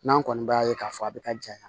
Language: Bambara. N'an kɔni b'a ye k'a fɔ a bɛ ka janya